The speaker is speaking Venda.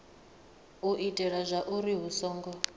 u itela zwauri hu songo